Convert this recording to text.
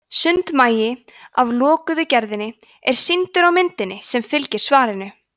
sundmagi af lokuðu gerðinni er sýndur á myndinni sem fylgir svarinu